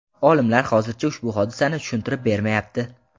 Olimlar hozircha ushbu hodisani tushuntirib bermayapti.